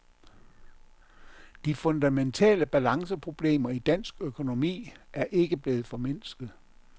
De fundamentale balanceproblemer i dansk økonomi ikke er blevet formindsket.